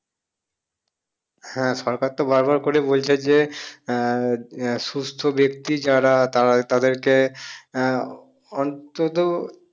হ্যাঁ সরকার তো বার বার করে বলছে যে আহ আহ সুস্থ্য বেক্তি যারা তারা তাদেরকে আহ অন্তত